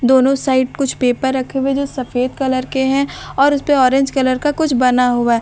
दोनों साइड कुछ पेपर रखे हुए जो सफेद कलर के हैं और उस पे ऑरेंज कलर का कुछ बना हुआ है।